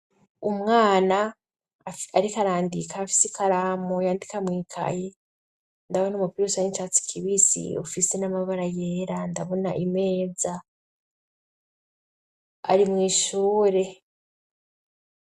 Umwana ariko arandika afise ikaramu yandika mwikayi, ndabona umupiro usa nicatsi kibisi ufise n'amabara yera, ndabona imeza ari mwishure.